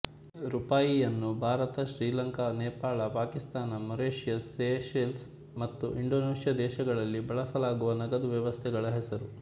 ರೂಪಾಯಿಯನ್ನು Bharat Sri Lanka Nepal Pakistan Mauritius Seychelles ಮತ್ತು Indonesia ದೇಶಗಳಲ್ಲಿ ಬಳಸಲಾಗುವ ನಗದು ವ್ಯವಸ್ಥೆಗಳ ಹೆಸರು